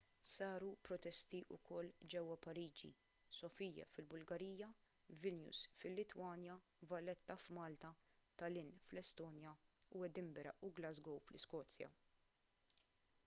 saru protesti wkoll ġewwa pariġi sofia fil-bulgarija vilnius fil-litwanja valletta f'malta tallinn fl-estonja u edinburgh u glasgow fl-iskozja